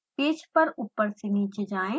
page पर ऊपर से नीचे जाएँ